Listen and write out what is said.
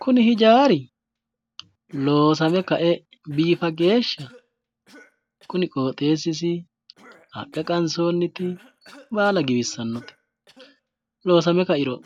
Kuni hijaari loosame ka"e biifa geeshsha kuni qooxeessisi, haqqe qansoonniti baala giwissanote. Loosame ka"iro